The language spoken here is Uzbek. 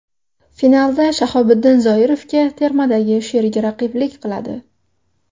Finalda Shahobiddin Zoirovga termadagi sherigi raqiblik qiladi.